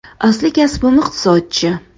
Asli kasbim iqtisodchi.